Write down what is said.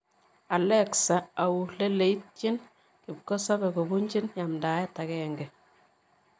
Alexa au lileityin kipkosobei kobunji yamdaet agenge